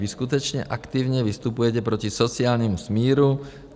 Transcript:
Vy skutečně aktivně vystupujete proti sociálnímu smíru.